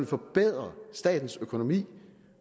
forbedre statens økonomi